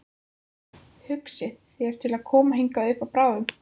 Hugsið þér til að koma hingað upp bráðum?